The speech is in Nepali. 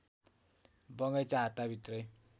बगैंचा हाताभित्रै